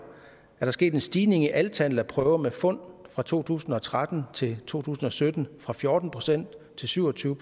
sket en stigning i antallet af prøver med fund fra to tusind og tretten til to tusind og sytten fra fjorten procent til syv og tyve